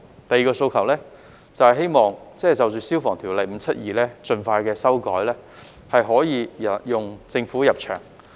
第二個訴求是希望盡快就《消防安全條例》作出修改，讓政府入場。